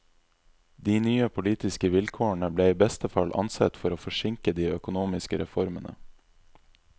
De nye politiske vilkårene ble i beste fall ansett å forsinke de økonomiske reformene.